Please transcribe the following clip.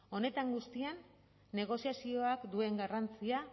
honetan guztian negoziazioak duen garrantzia